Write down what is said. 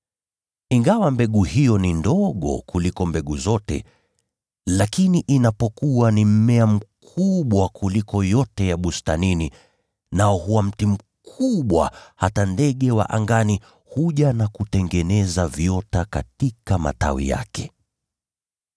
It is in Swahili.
Ingawa mbegu hiyo ni ndogo kuliko mbegu zote, lakini inapokua ni mmea mkubwa kuliko yote ya bustanini, nao huwa mti mkubwa, hadi ndege wa angani wanakuja na kutengeneza viota katika matawi yake.”